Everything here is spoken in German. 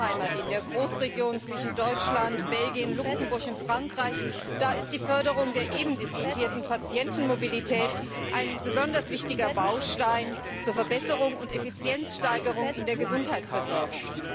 meiner Heimat in der Großregion zwischen Deutschland, Belgien, Luxemburg und Frankreich, ist die Förderung der eben diskutierten Patientenmobilität ein besonders wichtiger Baustein zur Verbesserung und Effizienzsteigerung in der Gesundheitsversorgung.